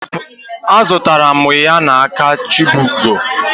Azụtara m ya na aka chibugo